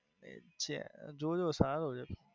જો જો સારો છે.